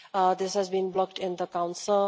This has been blocked in the Council.